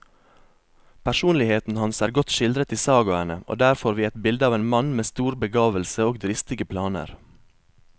Personligheten hans er godt skildret i sagaene, og der får vi et bilde av en mann med stor begavelse og dristige planer.